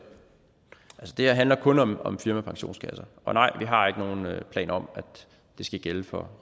her handler kun om om firmapensionskasser og nej vi har ikke nogen planer om at det skal gælde for